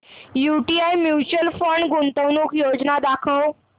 UTI mutual fund गुंतवणूक योजना दाखव